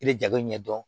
I bɛ jago ɲɛ dɔn